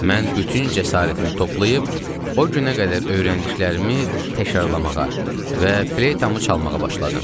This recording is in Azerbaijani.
Mən bütün cəsarətimi toplayıb, o günə qədər öyrəndiklərimi təkrarlamağa və fleytamı çalmağa başladım.